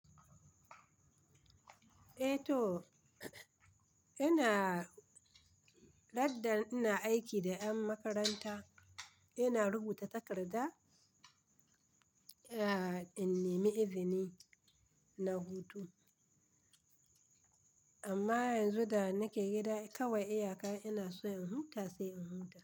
Eh to, ina-- daddan ina aiki da ƴan makaranta, ina rubuta takarda, eh in nemi izini na hutu. Amma yanzu da nake gida kawai iyaka ina so in huta sai in huta.